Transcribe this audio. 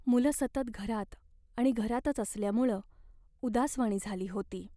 मुलं सतत घरात आणि घरातच असल्यामुळं उदासवाणी झाली होती.